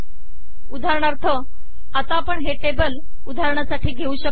उदाहरणार्थ आता आपण हे टेबल उदाहरणासाठी घेऊ शकतो